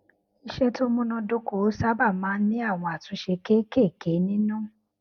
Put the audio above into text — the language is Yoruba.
iṣé tó múnádóko sábà máa ń ní àwọn àtúnṣe kéékèèké nínú